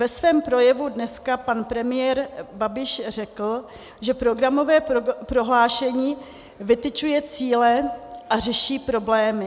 Ve svém projevu dneska pan premiér Babiš řekl, že programové prohlášení vytyčuje cíle a řeší problémy.